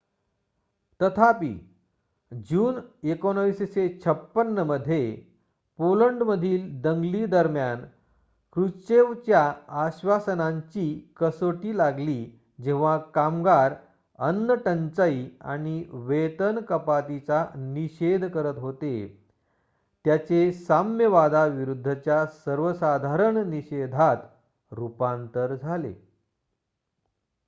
तथापि जून 1956 मध्ये पोलंडमधील दंगली दरम्यान क्रुश्चेवच्या आश्वासनांची कसोटी लागली जेव्हा कामगार अन्नटंचाई आणि वेतन कपातीचा निषेध करत होते त्याचे साम्यवादाविरूद्धच्या सर्वसाधारण निषेधात रुपांतर झाले